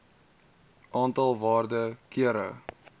aantal waarde kere